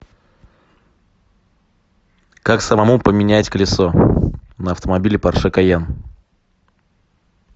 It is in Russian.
как самому поменять колесо на автомобиле порше кайен